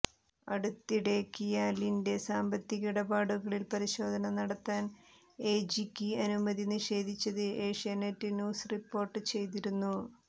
അടുത്തിടെ കിയാലിന്റെ സാമ്പത്തിക ഇടപാടുകളിൽ പരിശോധന നടത്താൻ എജിക്ക് അനുമതി നിഷേധിച്ചത് ഏഷ്യാനെററ് ന്യൂസ് റിപ്പോർട്ട് ചെയ്തിരുന്നു